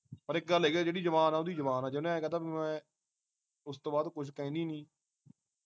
ਪਰ ਇਕ ਗੱਲ ਹੈਗੀ ਜਿਹੜੀ ਜ਼ਬਾਨ ਆ ਉਹਦੀ ਜ਼ਬਾਨ ਜੇ ਉਹਨੇ ਐ ਕਹਿ ਤਾਂ ਬਈ ਮੈਂ ਉਸਤੋਂ ਬਾਅਦ ਕੁਛ ਕਹਿੰਦੀ ਨੀ